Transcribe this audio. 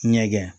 Ɲɛgɛn